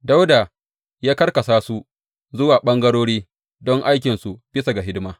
Dawuda ya karkasa su zuwa ɓangarori don aikinsu bisa ga hidima.